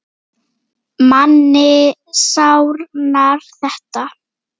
Manni sárnar þetta.